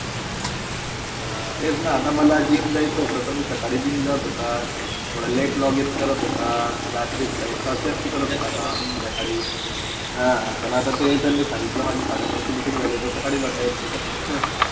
हा, तेचना आता मला GYM जायचा होता, ते मी सकाळी GYM जात होता. थोडा late login करत होता, रात्री थोडा एक तास जास्ती काम असते संध्याकाळी. हा, पण ते तर सांगितलं साडे नऊची meeting झाली आता सकाळीजाता येत नाही.